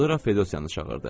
Sonra Fedosiyanı çağırdı.